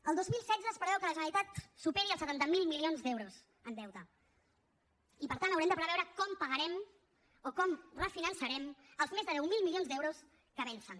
el dos mil setze es preveu que la generalitat superi els setanta miler milions d’euros en deute i per tant haurem de preveure com pagarem o com refinançarem els més de deu mil milions d’euros que vencen